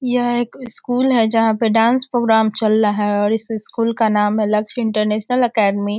यह एक स्कूल है जहाँ पे डांस प्रोग्राम चल रहा है और इस स्कूल का नाम है लक्स इंटरनेशनल एकेडमी ।